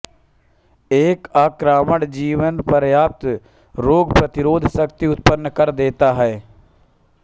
एक आक्रमण जीवनपर्यंत रोग प्रतिशोधक शक्ति उत्पन्न कर देता है